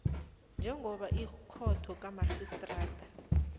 njengoba ikhotho kamarhistrada